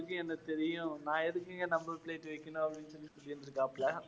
தெரியும் நான் எதுக்குங்க number plate வெக்கணும் அப்படின்னு சொல்லி கேட்டிருக்காப்ல